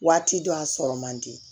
Waati dɔ a sɔrɔ man di